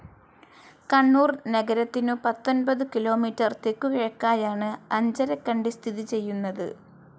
കണ്ണൂർ നഗരത്തിനു പത്തൊൻപതു കിലോമീറ്റർ തെക്കു കിഴക്കായാണ്‌ അഞ്ചരക്കണ്ടി സ്ഥിതി ചെയ്യുന്നത്.